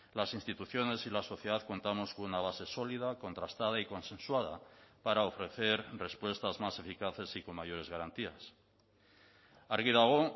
las instituciones y la sociedad contamos con una base sólida contrastada y consensuada para ofrecer respuestas más eficaces y con mayores garantías argi dago